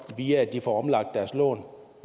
via at de får omlagt deres lån